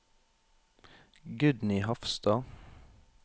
Gudny Hafstad